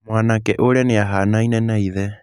Mwanake ũrĩa nĩ ahaanaine na ithe.